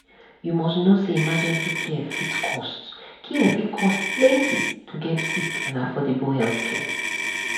you must know say emergency care fit cost care fit cost plenty to get quick and affordable healthcare.